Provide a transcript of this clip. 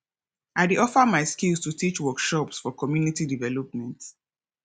i dey offer my skills to teach workshops for community development